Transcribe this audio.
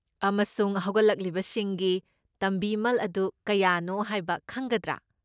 ꯑꯃꯁꯨꯡ ꯍꯧꯒꯠꯂꯛꯄꯁꯤꯡꯒꯤ ꯇꯝꯕꯤꯃꯜ ꯑꯗꯨ ꯀꯌꯥꯅꯣ ꯍꯥꯏꯕ ꯈꯪꯒꯗ꯭ꯔꯥ?